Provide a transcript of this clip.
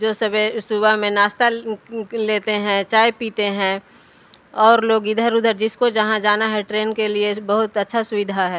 जो सबह सुबह में नाश्ता लेते हैं चाय पीते हैं और लोग इधर-उधर जिसको जहाँ जाना हैं ट्रेन के लिए बहुत अच्छा सुविधा हैं।